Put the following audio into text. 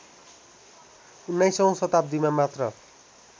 १९औं शताब्दीमा मात्र